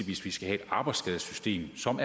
hvis vi skal have et arbejdsskadesystem som